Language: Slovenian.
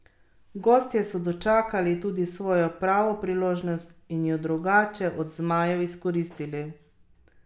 Gostje so dočakali tudi svojo pravo priložnost in jo drugače od zmajev izkoristili.